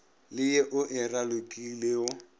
le ye o e ralokilego